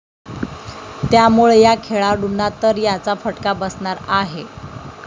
त्यामुळं या खेळाडूंना तर याचा फटका बसणार आहे.